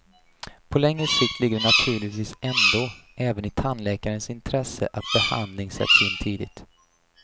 På längre sikt ligger det naturligtvis ändå även i tandläkarens intresse att behandling sätts in tidigt.